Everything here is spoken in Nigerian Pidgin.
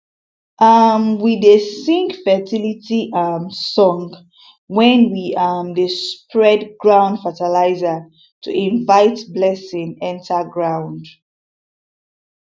um we dey sing fertility um song when we um dey spread ground fertilizer to invite blessing enter ground